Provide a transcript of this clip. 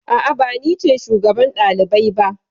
A'a, ba ni ce shugaban ɗalibai ba.